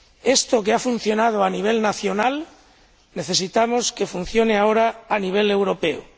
Esto, que ha funcionado a nivel nacional, necesitamos que funcione ahora a nivel europeo.